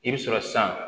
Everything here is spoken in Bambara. I bɛ sɔrɔ san